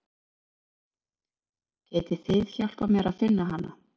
Getið þið hjálpað mér að finna hana?